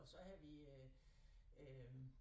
Og så havde vi øh øh